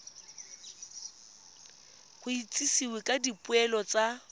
go itsisiwe ka dipoelo tsa